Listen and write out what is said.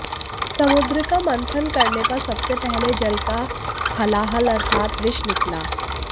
समुद्र का मंथन करने पर सबसे पहले जल का हलाहल अर्थात विष निकला